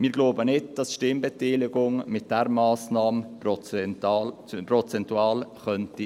Wir glauben nicht, dass die Stimmbeteiligung mit dieser Massnahme prozentual erhöht werden könnte.